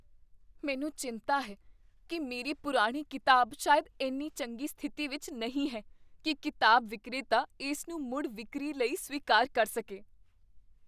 ਮੈਨੂੰ ਚਿੰਤਾ ਹੈ ਕੀ ਮੇਰੀ ਪੁਰਾਣੀ ਕਿਤਾਬ ਸ਼ਾਇਦ ਇੰਨੀ ਚੰਗੀ ਸਥਿਤੀ ਵਿੱਚ ਨਹੀਂ ਹੈ ਕੀ ਕਿਤਾਬ ਵਿਕਰੇਤਾ ਇਸ ਨੂੰ ਮੁੜ ਵਿਕਰੀ ਲਈ ਸਵੀਕਾਰ ਕਰ ਸਕੇ।